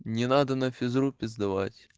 не надо на физру пиздовать